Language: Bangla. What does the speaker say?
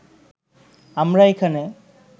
আমরা এখানে